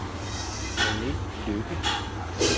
Rene Lykke